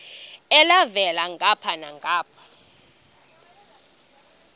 elhavela ngapha nangapha